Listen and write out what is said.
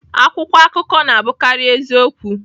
Akwụkwọ akụkọ na-abụkarị eziokwu.